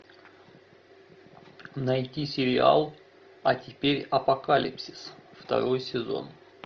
найди сериал а теперь апокалипсис второй сезон